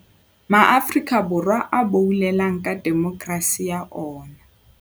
Borwa a boulelang ka demokerasi ya ona.